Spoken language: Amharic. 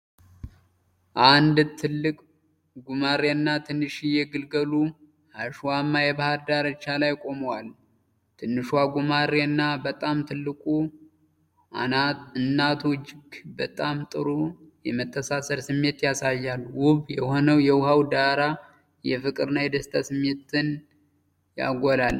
አንድ ትልቅ ጉማሬና ትንሽዬ ግልገሉ አሸዋማ የባህር ዳርቻ ላይ ቆመዋል። ትንሿ ጉማሬ እና በጣም ትልቋ እናቱ እጅግ በጣም ጥሩ የመተሳሰር ስሜት ያሳያሉ። ውብ የሆነው የውሃው ዳራ የፍቅር እና የደስታ ስሜትን ያጎላል።